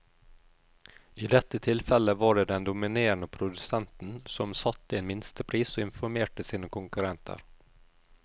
I dette tilfellet var det den dominerende produsenten som satte en minstepris og informerte sine konkurrenter.